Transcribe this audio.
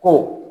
Ko